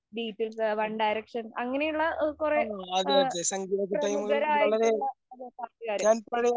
ഡീപില്‍സ്, One‍ Direction‍ അങ്ങനെയുള്ള കൊറെ പ്രമുഖരായിട്ടുള്ള പാട്ടുകാര്.